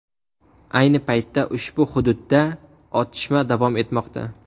Ayni paytda ushbu hududda otishma davom etmoqda.